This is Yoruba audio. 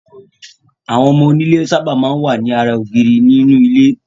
Àwọn ọmọ onílé sábà máa ń wà ní ara ògiri nínú ilé.